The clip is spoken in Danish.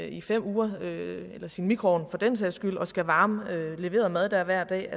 i fem uger eller i sin mikroovn for den sags skyld og skal varme leveret mad der hver dag